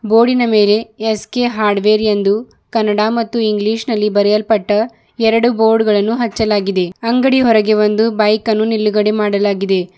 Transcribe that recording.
ಬೋರ್ಡಿನ ಮೇಲೆ ಎಸ್_ಕೆ ಹಾರ್ಡ್ವೇರ್ ಎಂದು ಕನ್ನಡ ಮತ್ತು ಇಂಗ್ಲೀಷ್ ನಲ್ಲಿ ಬರೆಯಲ್ಪಟ್ಟ ಎರಡು ಬೋರ್ಡ್ ಗಳನ್ನು ಹಚ್ಚಲಾಗಿದೆ ಅಂಗಡಿ ಹೊರಗೆ ಒಂದು ಬೈಕನ್ನು ನಿಲುಗಡೆ ಮಾಡಲಾಗಿದೆ.